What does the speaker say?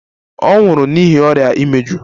Ọ nwụrụ n'ihi ọrịa imeju.